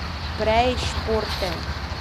Prej športen.